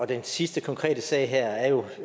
den sidste konkrete sag her er jo